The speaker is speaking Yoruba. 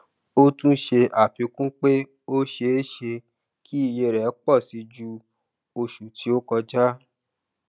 o tún ṣe afikun pé o ṣe ṣe kí ìyè rẹ pọ sí jù oṣù ti o koja